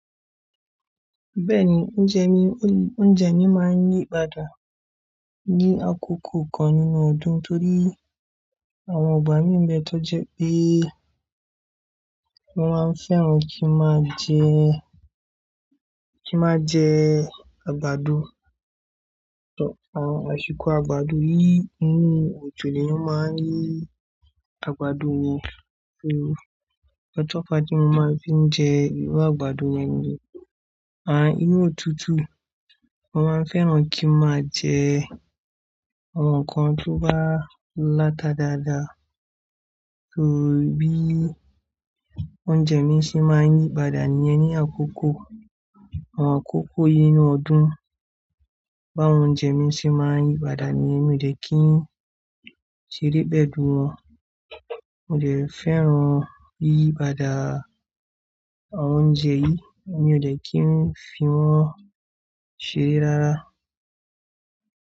Bẹ́ẹ̀ni, oúnjẹ mi, oúnjẹ mi máa ń yí padà ní àkókò kan nínú ọdún torí àwọn ìgbà mi ńbẹ tó jẹ pé mo máa ń fẹ́ran kí n máa jẹ, kí n máa jẹ àgbàdo. Àṣìkò àgbàdo yìí inú òjò lèèyàn máa ń rí àgbàdo yẹn. Torí ǹkan tó fàá tí mo máa n fi ń jẹ irú àgbàdo yẹn nìyẹn. À inú òtútù mo máa ń fẹ́ràn kí n máa jẹ àwọn ǹkan tí ó bá láta dáadáa torí bí oúnjẹ mi ṣe máa ń yí padà nìyẹn ní àkókò, àwọn àkókò yìí nínú ọdún báwọn oúnjẹ mi ṣe máa ń yí padà níyẹn mi ò dẹ̀ kí n ṣeré pẹ̀lú wọn. Mi ò ṣe fẹ́ran yíyípadà àwọn oúnjẹ yìí, mi ò dẹ̀ kí ń fi wọ́n ṣeré rárá.